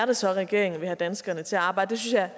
det så er regeringen vil have danskerne til at arbejde jeg